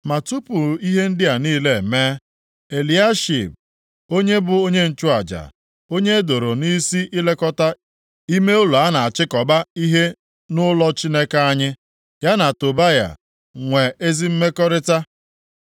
Ma tupu ihe ndị a niile emee, Eliashib onye bụ onye nchụaja, onye e doro nʼisi ilekọta ime ụlọ a na-achịkọba ihe nʼụlọ Chineke anyị, ya na Tobaya nwee ezi mmekọrịta,